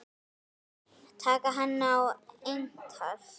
Taka hann á eintal.